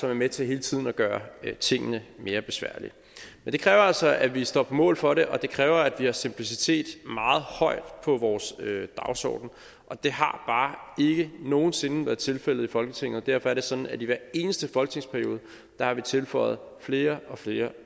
er med til hele tiden at gøre tingene mere besværlige det kræver altså at vi står på mål for det og det kræver at vi har simplicitet meget højt på vores dagsorden og det har bare ikke nogen sinde været tilfældet i folketinget derfor er det sådan at vi i hver eneste folketingsperiode har tilføjet flere og flere